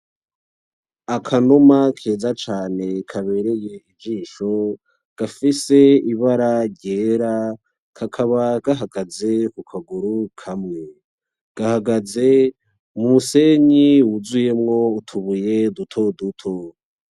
Akanuma keza cane kabereye ijisho gafise ibara ryera kakaba gahagaze kukaguru kamwe gahagaze mu musenyi wuzuyemo utubuye dutoduto.